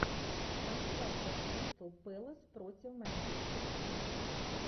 трансляция кристал пэлас против манчестер сити